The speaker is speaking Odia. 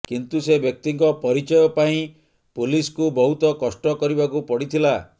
କିନ୍ତୁ ସେ ବ୍ୟକ୍ତିଙ୍କ ପରିଚୟ ପାଇଁ ପୋଲିସକୁ ବହୁତ କଷ୍ଟ କରିବାକୁ ପଡିଥିଲା